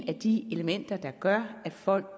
af de elementer der gør at folk